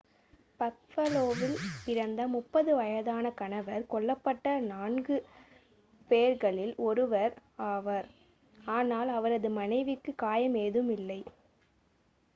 பஃபலோவில் பிறந்த 30 வயதான கணவர் கொல்லப்பட்ட நான்கு four பேர்களில் ஒருவர் one ஆவார். ஆனால் அவரது மனைவிக்கு காயம் ஏதும் இல்லை